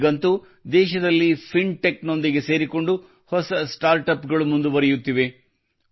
ಈಗಂತೂ ದೇಶದಲ್ಲಿ ಫಿನ್ಟೆಕ್ ನೊಂದಿಗೆ ಸೇರಿಕೊಂಡು ಹೊಸ ಸ್ಟಾರ್ಟ್ ಅಪ್ ಗಳು ಮುಂದುವರಿಯುತ್ತಿವೆ